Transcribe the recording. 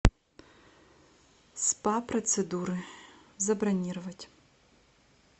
спа процедуры забронировать